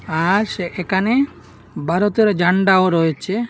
আস এখানে ভারতের ঝান্ডাও রয়েছে।